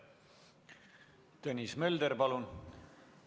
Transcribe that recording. Tõnis Mölder, palun!